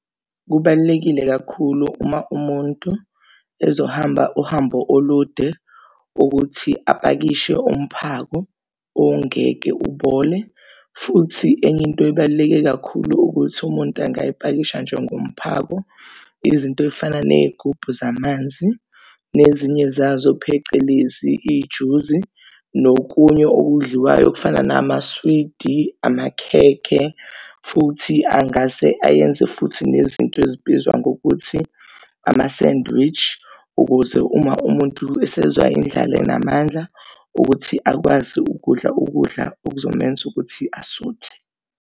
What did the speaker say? Kubalulekile kakhulu uma umuntu ezohamba uhambo olude ukuthi apakishe umphako ongeke ubole. Futhi enye into ebaluleke kakhulu ukuthi umuntu angayipakisha njengomphako, izinto ey'fana nezigubhu zamanzi nezinye zazo, phecelezi ijuzi nokunye okudliwayo okufana namaswidi, amakhekhe futhi angase ayenze futhi nezinto ezibizwa ngokuthi ama-sandwich, ukuze uma umuntu esezwa indlala enamandla ukuthi akwazi ukudla ukudla okuzomenza ukuthi asuthe.